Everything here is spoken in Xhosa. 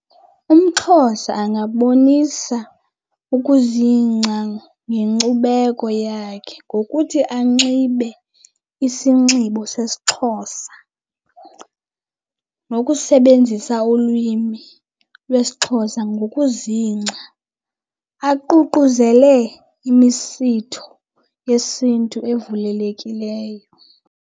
UmXhosa angabonisa ukuzingca ngenkcubeko yakhe ngokuthi anxibe isinxibo sesiXhosa nokusebenzisa ulwimi lwesiXhosa ngokuzingca, aququzele imisitho yesiNtu evulelekileyo.